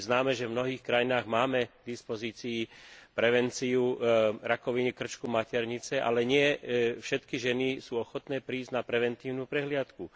Je známe, že v mnohých krajinách máme k dispozícii prevenciu rakoviny krčka maternice, ale nie všetky ženy sú ochotné prísť na preventívnu prehliadku.